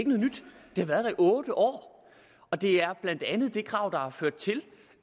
har været der otte år og det er blandt andet det krav der har ført til